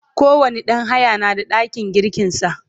kowani ɗan haya na da ɗakin girkin sa